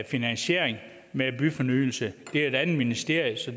finansiering med byfornyelse det er et andet ministerium så